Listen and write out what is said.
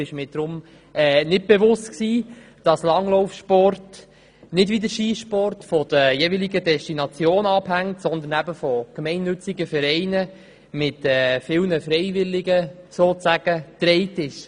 Deshalb war mir nicht bewusst, dass Langlaufsport nicht wie der Skisport von den jeweiligen Destinationen abhängt, sondern von gemeinnützigen Vereinen mit vielen Freiwilligen getragen ist.